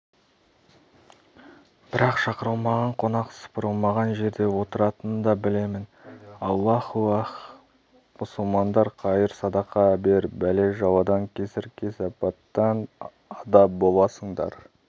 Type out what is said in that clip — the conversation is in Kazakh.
бірақ шақырылмаған қонақ сыпырылмаған жерде отыратынын да білемін аллаухи-ах мұсылмандар қайыр-садақа бер бәле-жаладан кесір-кесепаттан ада боласыңдар